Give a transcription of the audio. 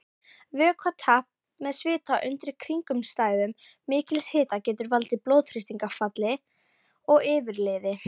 Vökvatap með svita undir kringumstæðum mikils hita getur valdið blóðþrýstingsfalli og yfirliði.